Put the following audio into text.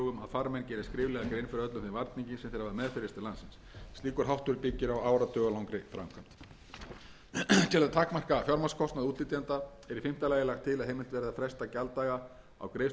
farmenn geri skriflega grein fyrir öllum þeim varningi sem þeir hafa meðferðis til landsins slíkur háttur byggir á áratugalangri framkvæmd til að takmarka fjármagnskostnað útflytjenda er í fimmta lagi lagt til að heimilt verði að fresta gjalddaga á greiðslufresti í tolli vegna virðisaukaskatts fram að